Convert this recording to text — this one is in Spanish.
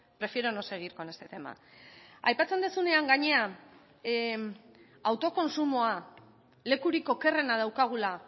prefiero no seguir con este tema aipatzen duzunean gainean autokontsumoa lekurik okerrena daukagula